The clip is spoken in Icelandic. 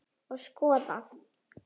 Og skoðað.